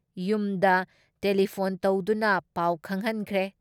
ꯌꯨꯝꯗ ꯇꯦꯂꯤꯐꯣꯟ ꯇꯧꯗꯨꯅ ꯄꯥꯎ ꯈꯪꯍꯟꯈ꯭ꯔꯦ ꯫